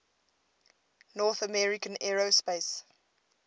north american aerospace